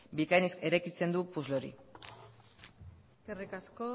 bikain eraikitzen du puzzle hori eskerrik asko